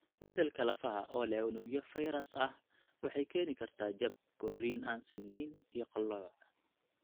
Beddelka lafaha oo leh unugyo fayras ah waxay keeni kartaa jab, korriin aan sinnayn, iyo qallooc.